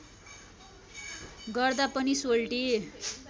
गर्दा पनि सोल्टी